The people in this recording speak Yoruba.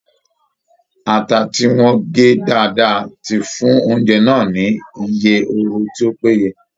Ata tí wọ́n gé dáadáa ti fún oúnjẹ náà ni iye oru tí ó péye